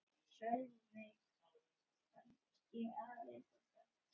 Sölvi: Kannski aðeins of hratt